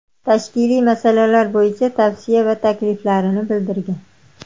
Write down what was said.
Tashkiliy masalalar bo‘yicha tavsiya va takliflarini bildirgan.